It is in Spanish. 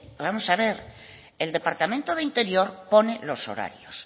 vamos a ver el departamento de interior pone los horarios